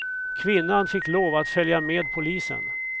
Kvinnan fick lov att följa med polisen.